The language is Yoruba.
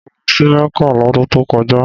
Mo lọ sí Mecca lọ́dun tó kọjá